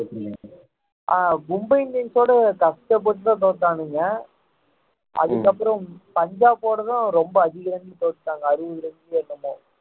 அஹ் மும்பை இண்டியன்ஸோட கஷ்டப்பட்டுதான் தோத்தாணுங்க அதுக்கப்புறம் பஞ்சாப்போடதான் ரொம்ப அதிக run தோத்துட்டாங்க அறுபது run என்னவோ